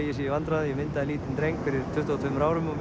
ég sé í vandræðum ég myndaði lítinn dreng fyrir tuttugu og tveimur árum og